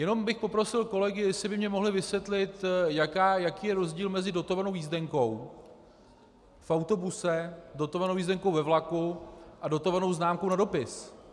Jenom bych poprosil kolegy, jestli by mně mohli vysvětli, jaký je rozdíl mezi dotovanou jízdenkou v autobuse, dotovanou jízdenkou ve vlaku a dotovanou známkou na dopis.